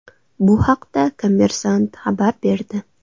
Bu haqda Kommersant xabar berdi .